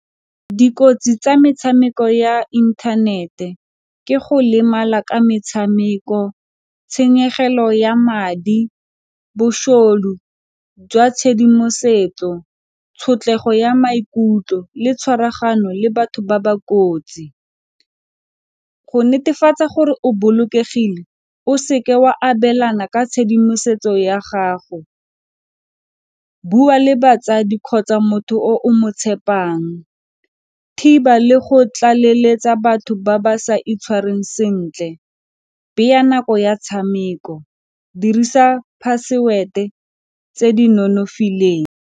Dikotsi tsa metshameko ya inthanete ke go lemala ka metshameko, tshenyegelo ya madi, bošodu jwa tshedimosetso, tshotlego ya maikutlo le tshwaragano le batho ba ba kotsi. Go netefatsa gore o bolokegile o se ke wa abelana ka tshedimosetso ya gago, bua le batsadi kgotsa motho o o mo tshepang. Thiba le go tlaleletsa batho ba ba sa itshwareng sentle, beya nako ya tshameko, dirisa password-e tse di nonofileng.